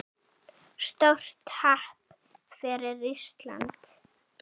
Stórt happ fyrir Ísland